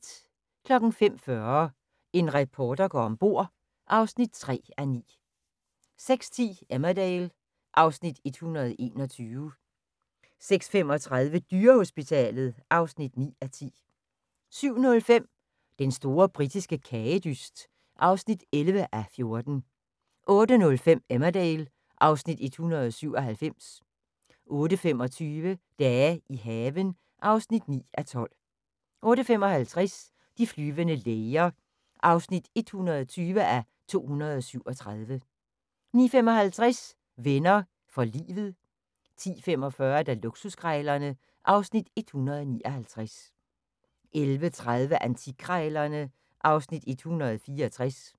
05:40: En reporter går om bord (3:9) 06:10: Emmerdale (Afs. 121) 06:35: Dyrehospitalet (9:10) 07:05: Den store britiske kagedyst (11:14) 08:05: Emmerdale (Afs. 197) 08:25: Dage i haven (9:12) 08:55: De flyvende læger (120:237) 09:55: Venner fior livet 10:45: Luksuskrejlerne (Afs. 159) 11:30: Antikkrejlerne (Afs. 164)